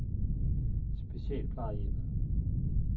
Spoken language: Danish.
Specialplejehjemmet